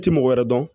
I ti mɔgɔ wɛrɛ dɔn